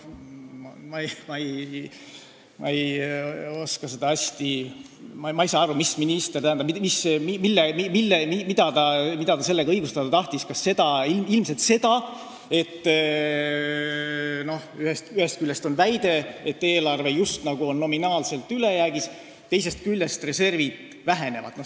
Ma ei saa aru, mida minister sellega õigustada tahtis, kas seda olukorda – ilmselt seda –, et ühest küljest on väide, nagu eelarve oleks justkui nominaalselt ülejäägis, teisest küljest aga reservid vähenevad.